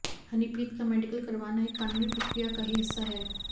हनीप्रीत का मेडिकल करवाना एक कानूनी प्रकिया का ही हिस्सा है